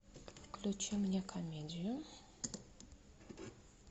включи мне комедию